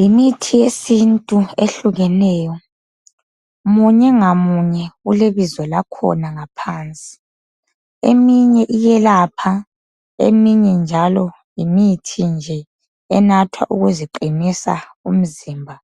Yimithi yesintu ehlukeneyo. Munye ngamunye ulebizo lakhona ngaphansi. Eminye iyelapha, eminye njalo yimithi nje enathwa ukuziqinisa umzimba